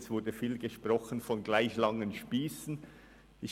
Es wurde viel von gleich langen Spiessen gesprochen.